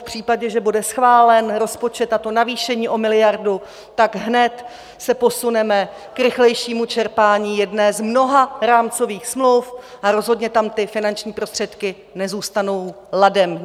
V případě, že bude schválen rozpočet a to navýšení o miliardu, tak se hned posuneme k rychlejšímu čerpání jedné z mnoha rámcových smluv a rozhodně tam ty finanční prostředky nezůstanou ladem.